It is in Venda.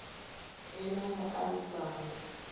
ḓi na mu a isano